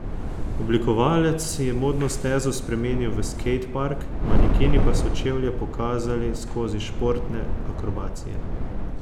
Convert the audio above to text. Oblikovalec je modno stezo spremenil v skejtpark, manekeni pa so čevlje pokazali skozi športne akrobacije.